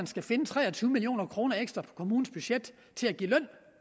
skal finde tre og tyve million kroner ekstra årligt på kommunens budget til at give løn